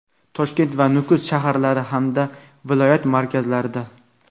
Toshkent va Nukus shaharlari hamda viloyat markazlarida:.